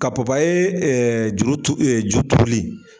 Ka papye ɛɛ juru turu, ju turuli